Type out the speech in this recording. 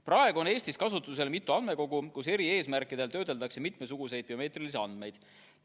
Praegu on Eestis kasutusel mitu andmekogu, kus eri eesmärkidel töödeldakse mitmesuguseid biomeetrilisi andmeid.